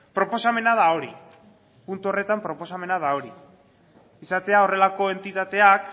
proposamena da hori puntu horretan proposamena da hori izatea horrelako entitateak